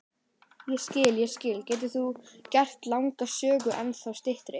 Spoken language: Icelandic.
Ég skil, ég skil, getur þú gert langa sögu ennþá styttri?